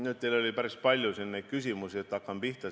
Teil oli siin nüüd päris palju küsimusi, eks ma hakkan pihta.